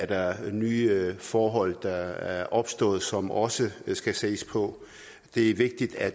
der er nye forhold der er opstået som også skal ses på det er vigtigt at